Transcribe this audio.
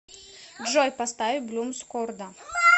джой поставь блумс корда